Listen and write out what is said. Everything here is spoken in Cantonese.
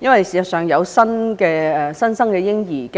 因為事實上，家庭迎接新生嬰兒，